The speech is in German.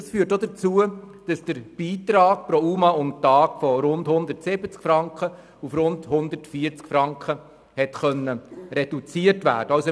Das führt dazu, dass der Beitrag für einen UMA pro Tag von rund 170 Franken auf rund 140 Franken reduziert werden konnte.